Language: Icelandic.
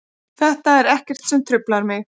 Þetta er ekkert sem truflar mig.